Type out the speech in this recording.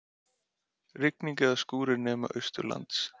Rigning eða skúrir nema austanlands